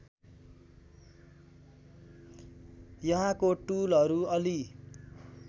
यहाँको टुलहरु अलि